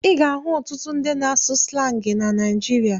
Ị ga-ahụ ọtụtụ ndị na-asụ slangị na Naịjirịa.